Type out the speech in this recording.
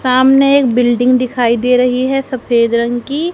सामने एक बिल्डिंग दिखाई दे रही है सफेद रंग की।